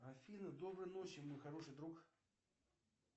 афина доброй ночи мой хороший друг